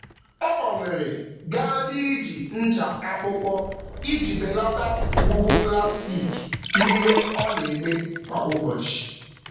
Ọ gbanwere gaa n'iji ncha akpụkpọ iji belata ngwugwu plastik n'ihe ọ na-eme kwa ụbọchị.